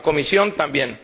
la Comisión, también.